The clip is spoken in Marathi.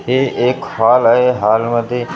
हे एक हॉल आहे हॉलमध्ये खुर्च्या --